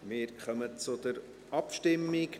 Wir kommen zur Abstimmung.